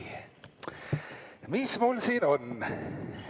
Mis mul siin on?